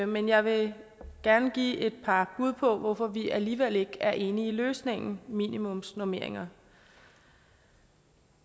men jeg vil gerne give et par bud på hvorfor vi alligevel ikke er enige i løsningen i minimumsnormeringer